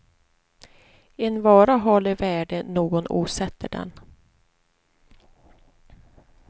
En vara har det värde någon åsätter den.